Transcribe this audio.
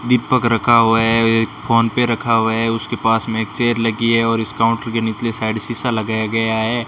दीपक रखा हुआ है फोन पे रखा हुआ है उसके पास में एक चेयर लगी है और इस काउंटर के नीचले साइड शीशा लगाया गया है।